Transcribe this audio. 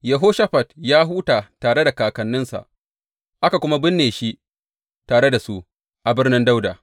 Yehoshafat ya huta tare da kakanninsa, aka kuma binne shi tare da su a Birnin Dawuda.